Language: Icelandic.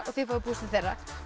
þið fáið púslið þeirra